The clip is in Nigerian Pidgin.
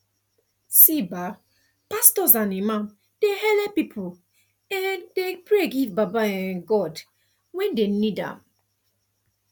see um pastors and imams dey helep pipu um dey pray give baba um god when dem need am